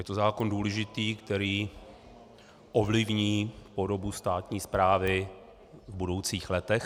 Je to zákon důležitý, který ovlivní podobu státní správy v budoucích letech.